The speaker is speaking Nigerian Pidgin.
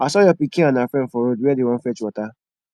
i saw your pikin and her friend for road where dey wan fetch water